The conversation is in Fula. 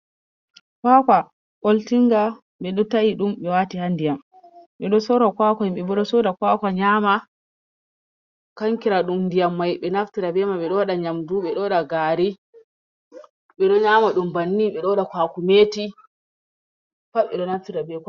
Kwakwa ɓoltinga ɓe ɗo ta'i ɗum ɓe wati ha ndiyam, ɓe ɗo sora kwakwa, himɓe bo ɗo soda kwakwa nyama, kankira ɗum ndiyam mai ɓe naftira be mai, ɓe ɗo waɗa nyamdu, ɓe ɗo waɗa gari, ɓe ɗo nyama ɗum banni, ɓe ɗo waɗa kwakumeti. Pat ɓe ɗo naftira be.